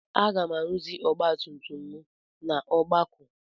Aga m arụzi ọgbatumtum m n'Ọgbakụ.